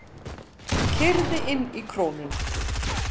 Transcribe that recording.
Keyrði inn í Krónuna